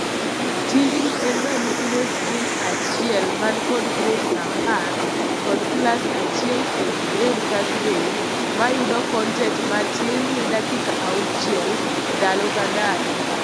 Tijni en ranyisi ne sikul achiel man kod grades apar kod class achiel ewii grade ka grade mayudo kontent matin ne dakika auchiel ndalo kandalo.